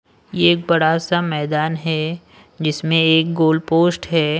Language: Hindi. यह एक बड़ा सा मैदान है जिसमें एक गोल पोस्ट है।